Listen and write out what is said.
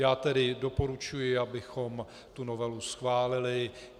Já tedy doporučuji, abychom tu novelu schválili.